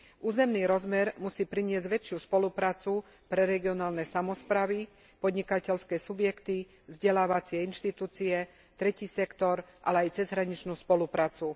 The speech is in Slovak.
Územný rozmer musí priniesť väčšiu spoluprácu pre regionálne samosprávy, podnikateľské subjekty, vzdelávacie inštitúcie, tretí sektor, ale aj cezhraničnú spoluprácu.